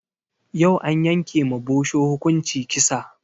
Yau an yanke ma bosho hukunci kisa